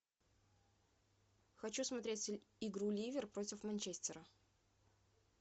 хочу смотреть игру ливер против манчестера